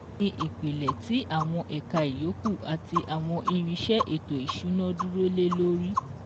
Oùn ní ìpìlẹ̀ tì àwọn ẹ̀ka ìyókù àti àwọn irinsẹ́ ètò ìsúná dúró lé lórí